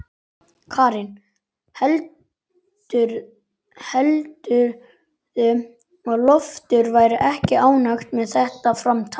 Karen: Heldurðu að Loftur verði ekki ánægður með þetta framtak?